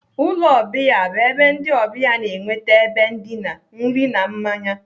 Ụlọ ọbịa bụ ebe ndị ọbịa na-enweta ebe ndina, nri na mmanya.